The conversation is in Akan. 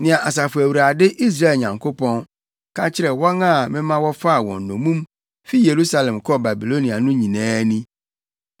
Nea Asafo Awurade, Israel Nyankopɔn, ka kyerɛ wɔn a mema wɔfaa wɔn nnommum fi Yerusalem kɔɔ Babilonia no nyinaa ni: